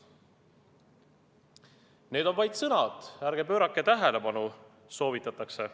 " Need on vaid sõnad, ärge pöörake tähelepanu, soovitatakse.